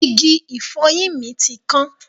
Igi ìfọyín mi ti kan.